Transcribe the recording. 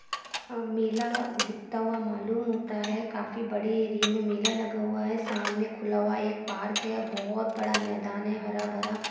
अ मेला दिखता हुआ मालूम होता है काफी बड़े एरिये में मेला लगा हुआ है सामने खुला हुआ एक पार्क है बहोत बड़ा मैदान है हरा भरा।